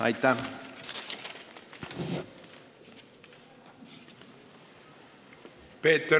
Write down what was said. Aitäh!